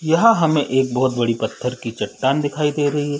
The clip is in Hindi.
यहाँ हमें एक बहुत बड़ी पत्थर की चट्टान दिखाई दे रही है।